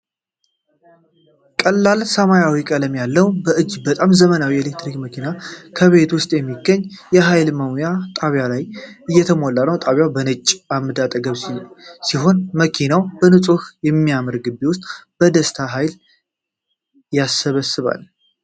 ቀላል ሰማያዊ ቀለም ያለው እጅግ በጣም ዘመናዊ የኤሌክትሪክ መኪና በቤት ውስጥ በሚገኝ የኃይል መሙያ ጣቢያ ቆሞ እየሞላ ነው። ጣቢያው በነጭ ዓምድ አጠገብ ሲሆን፣ መኪናው በንጹህና በሚያምር ግቢ ውስጥ በደስታ ኃይል ይሰበስባል።